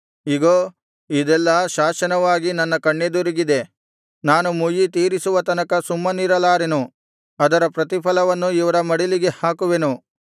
ಇಗೋ ಇದೆಲ್ಲಾ ಶಾಸನವಾಗಿ ನನ್ನ ಕಣ್ಣೆದುರಿಗಿದೆ ನಾನು ಮುಯ್ಯಿ ತೀರಿಸುವ ತನಕ ಸುಮ್ಮನಿರಲಾರೆನು ಅದರ ಪ್ರತಿಫಲವನ್ನು ಇವರ ಮಡಿಲಿಗೆ ಹಾಕುವೆನು